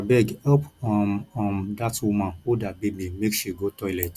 abeg help um um dat woman hold her baby make she go toilet